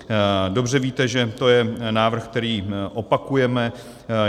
Dobře víte, že to je návrh, který opakujeme.